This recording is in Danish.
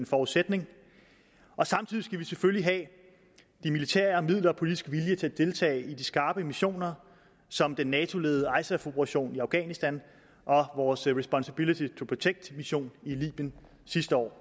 forudsætning og samtidig skal vi selvfølgelig have de militære midler og politisk vilje til at deltage i de skarpe missioner som den nato ledede isaf operation i afghanistan og vores responsibility to protect mission i libyen sidste år